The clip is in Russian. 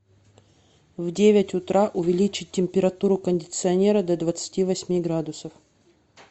в девять утра увеличить температуру кондиционера до двадцати восьми градусов